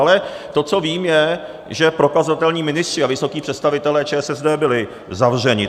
Ale to, co vím, je, že prokazatelní ministři a vysocí představitelé ČSSD byli zavřeni.